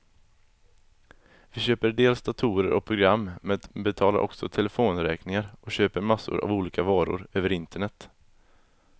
Vi köper dels datorer och program, men betalar också telefonräkningen och köper massor av olika varor över internet.